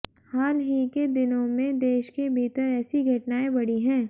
हाल ही के दिनों में देश के भीतर ऐसी घटनाएं बढ़ी हैं